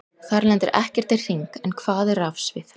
Þar lendir ekkert í hring, en hvað er rafsvið?